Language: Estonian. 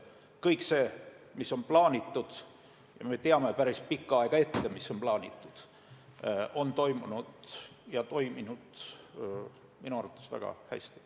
Kõik see, mis on plaanitud – ja me teame päris pikka aega ette, mis on plaanitud –, on toimunud ja toimunud minu arvates väga hästi.